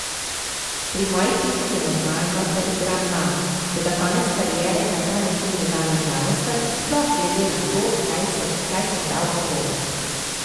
Pri mojih letih je normalno, da igram manj, toda konec kariere na ta način je zame žalosten, sploh glede na to, kaj sem dal Romi.